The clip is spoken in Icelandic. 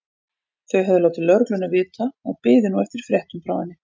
Þau höfðu látið lögregluna vita og biðu nú eftir fréttum frá henni.